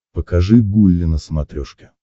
покажи гулли на смотрешке